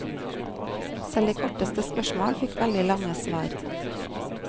Selv de korteste spørsmål fikk veldig lange svar.